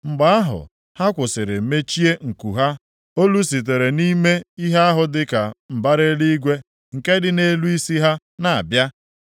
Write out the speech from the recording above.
Mgbe ahụ ha kwụsịrị mechie nku ha olu sitere nʼime ihe ahụ dịka mbara eluigwe nke dị nʼelu isi ha na-abịa.